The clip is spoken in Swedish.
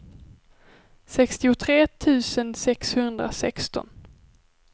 sextiotre tusen sexhundrasexton